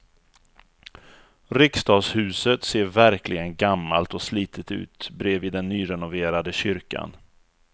Riksdagshuset ser verkligen gammalt och slitet ut bredvid den nyrenoverade kyrkan.